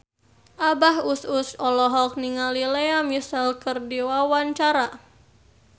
Abah Us Us olohok ningali Lea Michele keur diwawancara